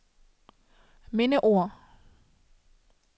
mindeord